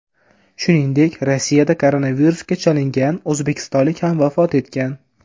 Shuningdek, Rossiyada koronavirusga chalingan o‘zbekistonlik ham vafot etgan .